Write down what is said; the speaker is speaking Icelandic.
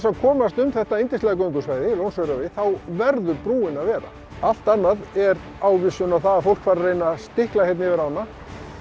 að komast um þetta yndislega göngusvæði Lónsöræfi þá verður brúin að vera allt annað er ávísun á að fólk fari að stikla hérna yfir ána